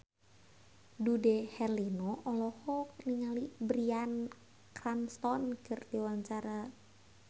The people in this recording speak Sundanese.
Dude Herlino olohok ningali Bryan Cranston keur diwawancara